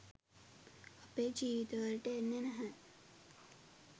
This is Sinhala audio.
අපේ ජීවිතවලට එන්නේ නැහැ.